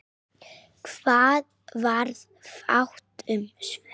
Það varð fátt um svör.